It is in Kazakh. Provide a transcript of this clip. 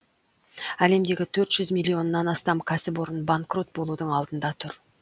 әлемдегі төрт жүз миллионнан астам кәсіпорын банкрот болудың алдында тұр